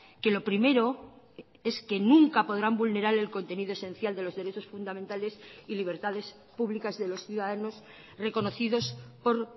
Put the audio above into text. que lo primero es que nunca podrán vulnerar el contenido esencial de los derechos fundamentales y libertades publicas de los ciudadanos reconocidos por